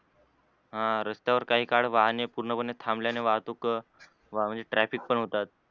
ह रस्त्यावर काही काळ वाहने पूर्णपणे थांबल्यान वाहतूक वा traffic पण होतात.